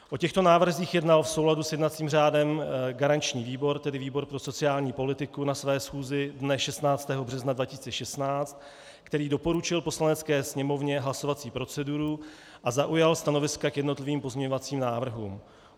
O těchto návrzích jednal v souladu s jednacím řádem garanční výbor, tedy výbor pro sociální politiku, na své schůzi dne 16. března 2016, který doporučil Poslanecké sněmovně hlasovací proceduru a zaujal stanoviska k jednotlivým pozměňovacím návrhům.